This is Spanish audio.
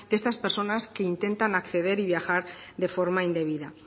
de estas personas que intentan acceder y viajar de forma indebida